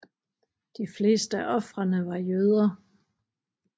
De fleste af ofrene var jøder